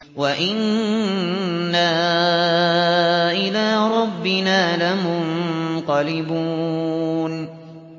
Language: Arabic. وَإِنَّا إِلَىٰ رَبِّنَا لَمُنقَلِبُونَ